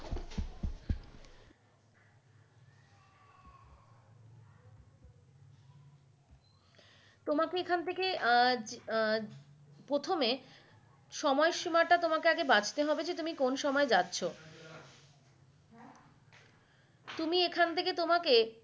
তোমাকে এখান থাকে আহ আহ প্রথমে সময় সীমাটা তোমাকে আগে বাছতে হবে তুমি কোন সময় যাচ্ছ তুমি এখান থেকে তোমাকে।